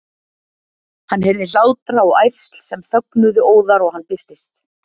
Hann heyrði hlátra og ærsl sem þögnuðu óðar og hann birtist.